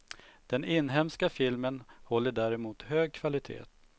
Den inhemska filmen håller däremot hög kvalitet.